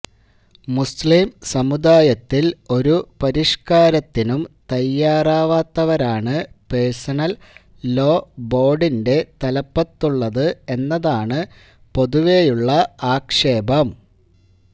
മുസ്ലിം സമുദായത്തിൽ ഒരു പരിഷ്കാരത്തിനും തയ്യാറാവാത്തവരാണ് പേഴ്സണൽ ലോ ബോർഡിന്റെ തലപ്പത്തുള്ളത് എന്നതാണ് പൊതുവെയുള്ള ആക്ഷേപം